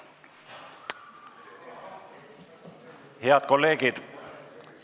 Head kolleegid!